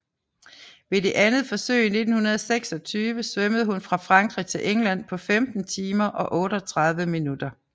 Ved det andet forsøg i 1926 svømmede hun fra Frankrig til England på 15 timer og 38 minutter